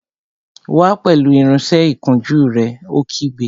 Wá pẹ̀lú irinsẹ́ ìkunjú rẹ̀! Ó kígbe